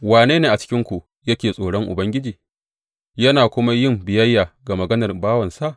Wane ne a cikinku yake tsoron Ubangiji yana kuma yin biyayya ga maganar bawansa?